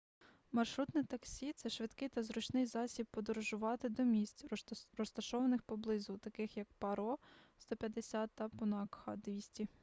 маршрутне таксі — це швидкий та зручний засіб подорожувати до місць розташованих поблизу таких як паро 150 та пунакха 200